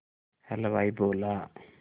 हलवाई बोला